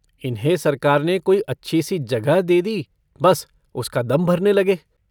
इन्हें सरकार ने कोई अच्छी-सी जगह दे दी, बस उसका दम भरने लगे।